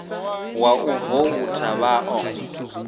wa u voutha vha ḓo